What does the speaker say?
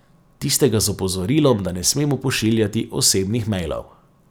Tistega z opozorilom, da ne smemo pošiljati osebnih mejlov.